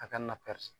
A ka na ka